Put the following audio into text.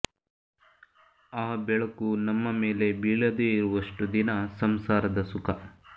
ಆ ಬೆಳಕು ನಮ್ಮ ಮೇಲೆ ಬೀಳದೇ ಇರುವಷ್ಟು ದಿನ ಸಂಸಾರದ ಸುಖ